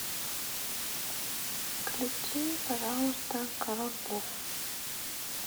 включи пожалуйста король лев